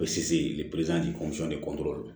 O bɛ se